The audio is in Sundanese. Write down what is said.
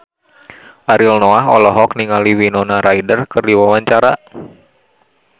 Ariel Noah olohok ningali Winona Ryder keur diwawancara